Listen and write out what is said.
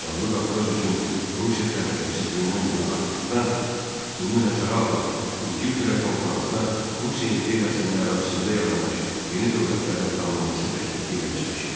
Cənubi Qafqaz üçün Rusiya təhlükəsi gündən-günə artdıqdan, bunu nəzərə alan İngiltərə konfransda Rusiya imperiyasının ərazisində yaranmış yeni dövlətlərin tanınması təklifi ilə çıxış etdi.